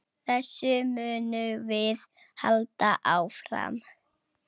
Þessu munum við halda áfram.